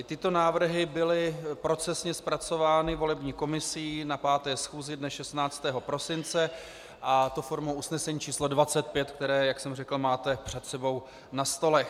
I tyto návrhy byly procesně zpracovány volební komisí na 5. schůzi dne 16. prosince a to formou usnesení číslo 25, které, jak jsem řekl, máte před sebou na stolech.